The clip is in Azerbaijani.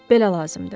Belə lazımdır.